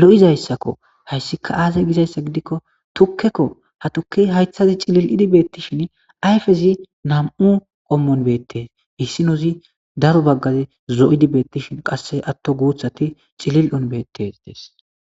lo7izayssakko hayssika aazey gizayssa gidikko tukkekko ha tuki haythazi cilil7idi beettishin ayfezi nam7u qommon beettes hissinozi daro baggazi zo7idi beettishin qasse atto guuthati cilil7on beettes des.